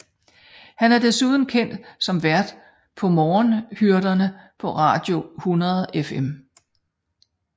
Han er desuden kendt som vært på Morgenhyrderne på Radio 100FM